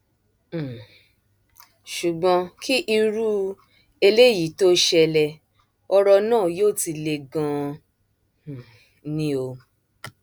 um ṣùgbọn kí irú eléyìí tóó ṣẹlẹ ọrọ náà yóò ti le ganan um ni o